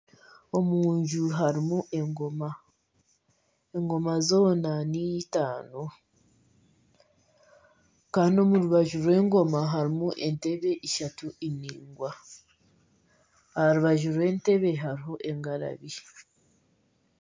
Omunju harimu engoma, engoma zoona nitaano kandi omu rubaju rw'engooma harimu entebbe ishatu endaingwa aharubaju rw'entebbe hariho engarabi.